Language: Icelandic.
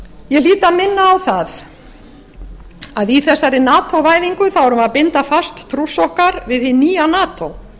ég hlýt að minna á það að í þessari nato væðingu erum við að binda fast trúss okkar við hið nýja nato